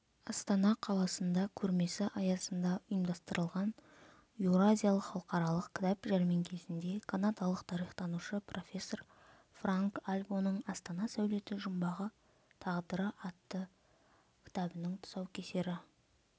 астана қаласында көрмесі аясында ұйымдастырылған еуразиялық халықаралық кітап жәрмеңкесінде канадалық тарихтанушы профессор франк альбоның астана сәулеті жұмбағы тағдыры атты кітабының тұсаукесері